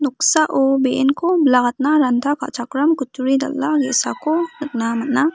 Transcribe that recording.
noksao be·enko bilakatna ranta ka·chakram kutturi dal·a ge·sako nikna man·a.